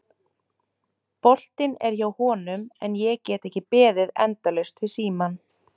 Boltinn er hjá honum en ég get ekki beðið endalaust við símann.